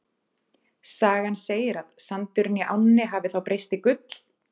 Sagan segir að sandurinn í ánni hafi þá breyst í gull.